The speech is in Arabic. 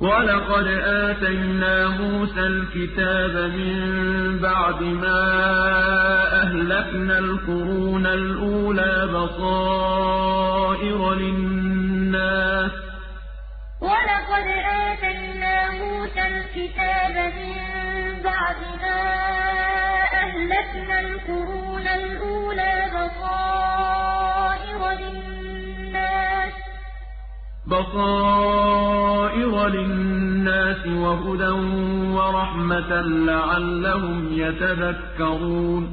وَلَقَدْ آتَيْنَا مُوسَى الْكِتَابَ مِن بَعْدِ مَا أَهْلَكْنَا الْقُرُونَ الْأُولَىٰ بَصَائِرَ لِلنَّاسِ وَهُدًى وَرَحْمَةً لَّعَلَّهُمْ يَتَذَكَّرُونَ